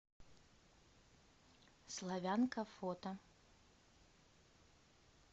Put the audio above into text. славянка фото